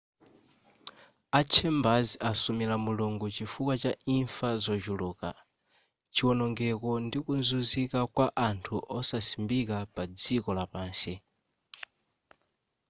a chambers asumila mulungu chifukwa cha imfa zochuluka chionongeko ndi kuzunzika kwa anthu osasimbika pa dziko lapansi